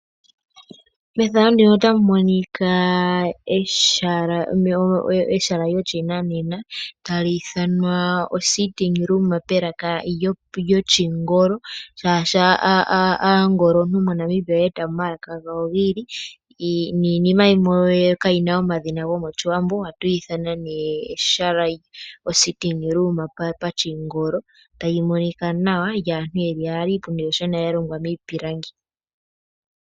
Mefano ndino otamu monika ehala lyoshinanena tali ithanwa ositting room melaka lyoshingolo. Shashi aangolontu moNamibia oye eta mo omalaka gawo giili niinima yimwe kaayina omadhina gomoshiwambo. Ohatu yi ithana nee ositting room pashingolo tayi monika nawa